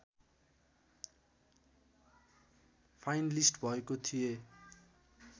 finalist भएको थिएँ